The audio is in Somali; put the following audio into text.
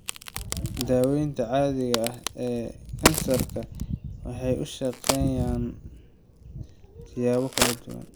Daawayntan caadiga ah ee kansarka waxay u shaqeeyaan siyaabo kala duwan.